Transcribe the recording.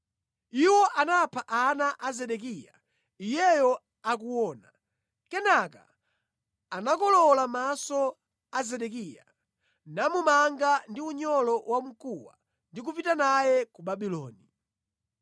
Iwo anapha ana a Zedekiya iyeyo akuona. Kenaka anakolowola maso a Zedekiya namumanga ndi unyolo wamkuwa ndi kupita naye ku Babuloni.